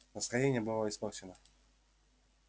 настроение было испорчено